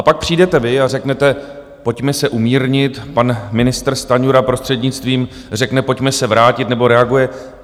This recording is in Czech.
A pak přijdete vy a řeknete, pojďme se umírnit, pan ministr Stanjura prostřednictvím řekne, pojďme se vrátit nebo reaguje.